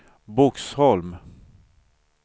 Boxholm